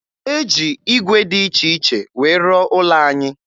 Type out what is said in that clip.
E ji ígwè dị iche iche wee rụọ ụlọ anyị